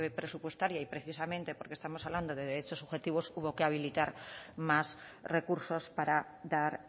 presupuestaria y precisamente porque estamos hablando de derechos subjetivos hubo que habilitar más recursos para dar